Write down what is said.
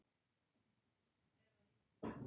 Sjóliðsforinginn horfði á spyrjandann.